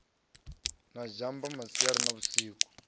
na zhamba masiari na vhusiku